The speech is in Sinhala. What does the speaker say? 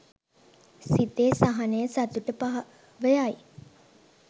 සිතේ සහනය සතුට පහව යයි.